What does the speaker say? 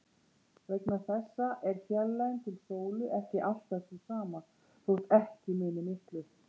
Vegna þessa er fjarlægðin til sólu ekki alltaf sú sama, þótt ekki muni miklu.